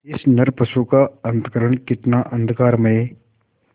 इस नरपशु का अंतःकरण कितना अंधकारमय